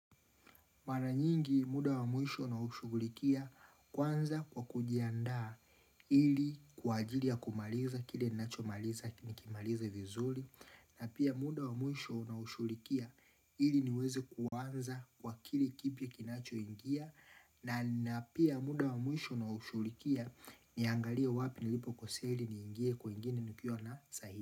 Mana nyingi muda wa mwisho naushughulikia kwanza kwa kujiandaa ili kwa ajili ya kumaliza kile ninacho maliza nikimalize vizuri na pia muda wa mwisho naushughulikia ili niweze kuaanza kwa kile kipi kinachoingia na pia muda wa mwisho naushugulikia niangalia wapi nilipo kuseli niingie kwingine nukiwa na sahi.